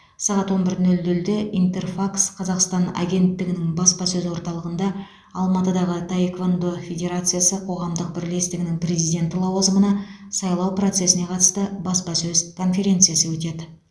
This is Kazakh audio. сағат он бір нөл нөлде интерфакс қазақстан агенттігінің баспасөз орталығында алматыдағы таеквондо федерациясы қоғамдық бірлестігінің президенті лауазымына сайлау процесіне қатысты баспасөз конференциясы өтеді